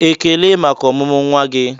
"Ekele maka ọmụmụ nwa gị!"